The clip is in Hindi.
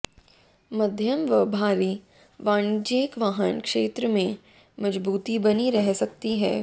मध्यम व भारी वाणिज्यिक वाहन क्षेत्र में मजबूती बनी रह सकती है